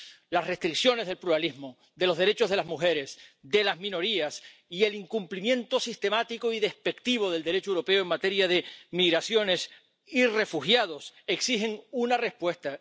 Las restricciones del pluralismo, de los derechos de las mujeres, de las minorías y el incumplimiento sistemático y despectivo del Derecho europeo en materia de migraciones y refugiados exigen una respuesta.